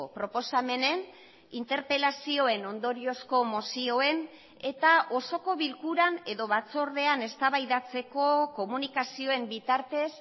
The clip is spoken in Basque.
proposamenen interpelazioen ondoriozko mozioen eta osoko bilkuran edo batzordean eztabaidatzeko komunikazioen bitartez